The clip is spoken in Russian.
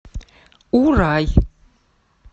урай